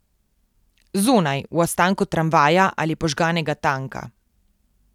Zunaj, v ostanku tramvaja ali požganega tanka.